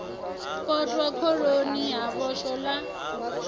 potwa khoroni ha vhoxwa ḽa